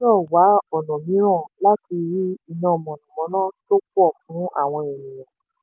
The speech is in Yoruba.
ìjọba gbọ́dọ̀ wá ọ̀nà mìíràn láti rí iná mànàmáná tó pọ̀ fún àwọn ènìyàn.